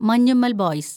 Manjummel‍ boys